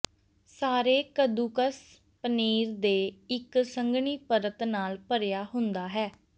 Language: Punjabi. ਸਾਰੇ ਕੱਦੂਕਸ ਪਨੀਰ ਦੇ ਇੱਕ ਸੰਘਣੀ ਪਰਤ ਨਾਲ ਭਰਿਆ ਹੁੰਦਾ ਹੈ